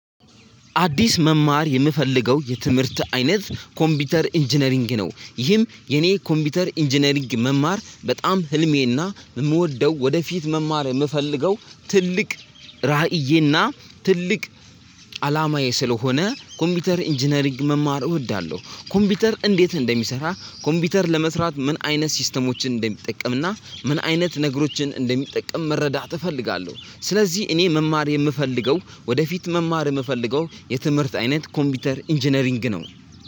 አዲስ መማር የምፈልገው የትምህርት አይነት ኮምፒውተር ኢንጂነሪንግ ነው ይህም የኔ ኮምፒውተር ኢንጂነሪንግ መማር በጣም ህልሜና የምወደው ወደፊት መማር የምፈልገው ትልቅ ራእዬና ትልቅ አላማዬ ስለሆነ ኮምፒውተር ኢንጂነሪንግ መማር እወዳለሁ። ኮምፒውተር እንዴት እንደሚሰራ ኮምፒውተር ለመስራት ምን አይነት ሲስተሞችን እንደሚጠቀም እና ምን አይነት ነገሮችን እንደሚጠቅም መረዳት እፈልጋለሁ። ስለዚህ እኔ መማር የምፈልገው ወደፊት መማር የምፈልገው የትምህርት አይነት ኮምፒውተር ኢንጂነሪንግ ነው።